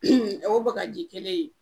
o bakaji kelen in